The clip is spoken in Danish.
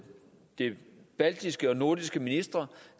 de baltiske og nordiske ministre